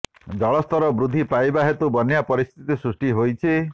ଜଳସ୍ତର ବୃଦ୍ଧି ପାଇବା ହେତୁ ବନ୍ୟା ପରିସ୍ଥିତି ସୃଷ୍ଟି ହୋଇଛି